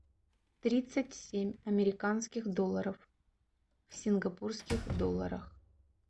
тридцать семь американских долларов в сингапурских долларах